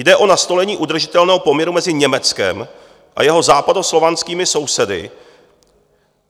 Jde o nastolení udržitelného poměru mezi Německem a jeho západoslovanskými sousedy.